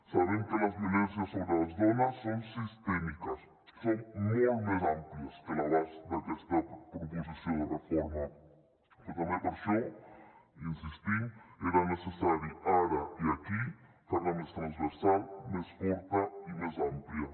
sabem que les violències sobre les dones són sistèmiques són molt més àmplies que l’abast d’aquesta proposició de reforma però també per això hi insistim era necessari ara i aquí fer la més transversal més forta i més àmplia